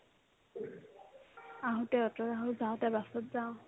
আহোতে অ'টোত আহো যাওতে বাছত যাও